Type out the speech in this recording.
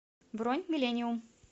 бронь миллениум